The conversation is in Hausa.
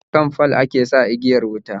Akan fal ake sa igiyar wuta